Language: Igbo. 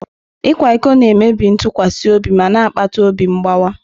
Ịkwa iko na-emebi ntụkwasị obi ma na-akpata obi mgbawa.